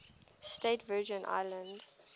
states virgin islands